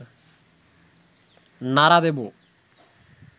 নাড়া দেব